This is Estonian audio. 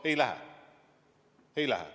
Ei lähe!